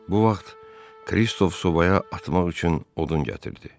Bu vaxt Kristof sobaya atmaq üçün odun gətirdi.